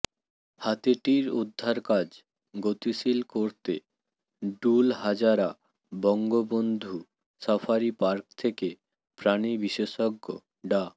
হাতিটির উদ্ধার কাজ গতিশীল করতে Dulahazara Bangabandhu safari park থেকে প্রাণি বিশেষজ্ঞ ডা